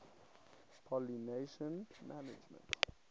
pollination management